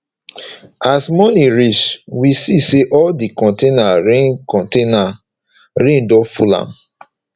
as morning reach we see say all di container rain container rain don full am